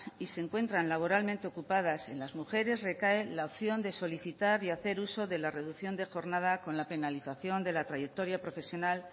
y se encuentran laboralmente ocupadas en las mujeres recae la opción de solicitar y hacer uso de la reducción de jornada con la penalización de la trayectoria profesional